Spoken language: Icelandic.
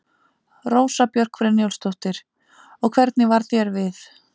Rósa Björk Brynjólfsdóttir: Og hvernig varð þér við?